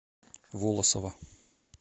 волосово